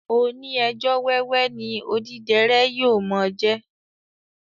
Oní ẹjọ́ wẹ́wẹ́ ni odíderé yóò mo jẹ